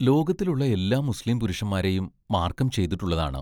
ലോകത്തിലുള്ള എല്ലാ മുസ്ലീം പുരുഷന്മാരെയും മാർക്കം ചെയ്തിട്ടുള്ളതാണ്.